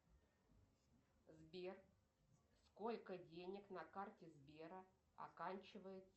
сбер сколько денег на карте сбера оканчивается